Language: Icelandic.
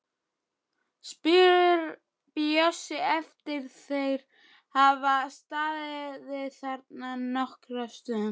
spyr Bjössi eftir að þeir hafa staðið þarna nokkra stund.